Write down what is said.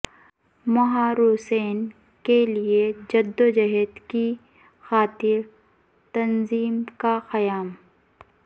محروسین کے لیے جدوجہد کی خاطر تنظیم کا قیام